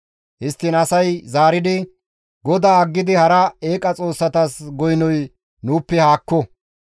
Histtiin asay zaaridi, «GODAA aggidi hara eeqa xoossatas goynoy nuuppe haakko!